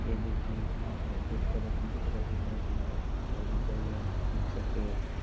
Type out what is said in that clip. देख रहे है और एक तरफ मिट्टी का ठेला रुका हुआ है वहाँ पे पेड़ ।